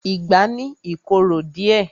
Ìgbá ni I korò díẹ̀.